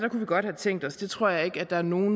vi godt have tænkt os det tror jeg ikke der er nogen